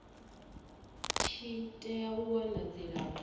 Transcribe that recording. tshi tea u wana dzilafho